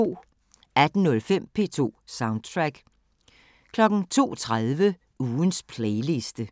18:05: P2 Soundtrack 02:30: Ugens playliste